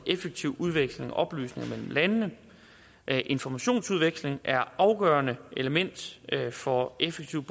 effektiv udveksling af oplysninger mellem landene informationsudveksling er afgørende element for effektivt